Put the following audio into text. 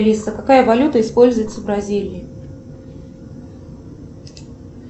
алиса какая валюта используется в бразилии